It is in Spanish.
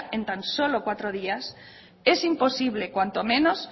en tan solo cuatro días es imposible cuanto menos